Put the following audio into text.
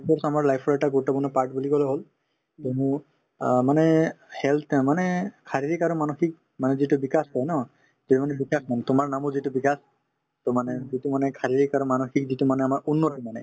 ই sports আমাৰ life ৰ এটা গুৰুত্বপূৰ্ণ part বুলি কলে হল কিয়নো অ মানে health য়ে মানে শাৰীৰিক আৰু মানসিক মানে যিটো bikash কই ন দুটাক কম তোমাৰ নামো যিহেতু বিকাশ to মানে যিটো মানে শাৰীৰিক আৰু মানসিক যিটো মানে আমাৰ উন্নতি মানে